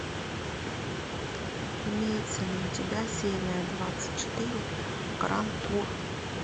имеется ли у тебя серия двадцать четыре гранд тур